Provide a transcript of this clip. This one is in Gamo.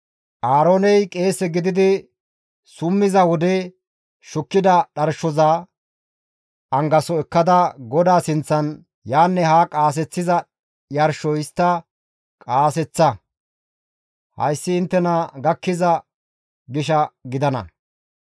Aarooney qeese gididi summiza wode shukkida dharshoza angaso ekkada GODAA sinththan yaanne haa qaaseththiza yarsho histta qaaseththa; hayssi inttena gakkiza gisha gidana.